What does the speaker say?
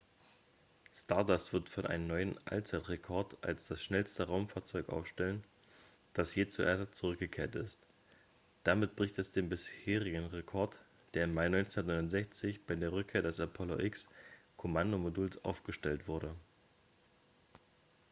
stardust wird einen neuen allzeitrekord als das schnellste raumfahrzeug aufstellen das je zur erde zurückgekehrt ist damit bricht es den bisherigen rekord der im mai 1969 bei der rückkehr des apollo x-kommandomoduls aufgestellt wurde